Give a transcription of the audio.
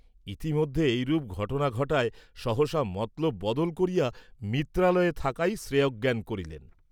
ইতিমধ্যে এইরূপ ঘটনা ঘটায় সহসা মতলব বদল করিয়া ‘মিত্রালয়ে’ থাকাই শ্রেয়ঃজ্ঞান করিলেন।